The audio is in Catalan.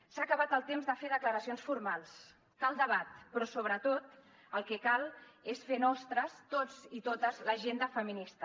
s’ha acabat el temps de fer declaracions formals cal debat però sobretot el que cal és fer nostra tots i totes l’agenda feminista